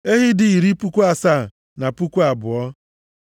Ehi dị iri puku asaa na puku abụọ (72,000),